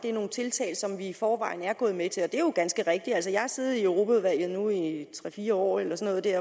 er nogle tiltag som vi i forvejen er gået med til og det er jo ganske rigtigt jeg har siddet i europaudvalget nu i tre fire år eller sådan